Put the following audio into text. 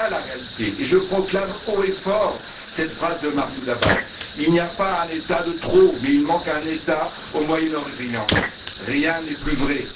Voilà la réalité et je proclame haut et fort cette phrase de Mahmoud Abbas Il n'y a pas un État de trop, mais il manque un État au Moyen Orient. Rien n'est plus vrai.